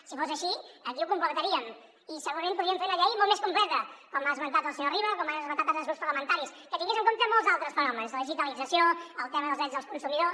si fos així aquí ho completaríem i segurament podríem fer una llei molt més completa com ha esmentat el senyor riba com han esmentat altres grups parlamentaris que tingués en compte molts altres fenòmens la digitalització el tema dels drets dels consumidors